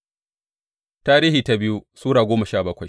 biyu Tarihi Sura goma sha bakwai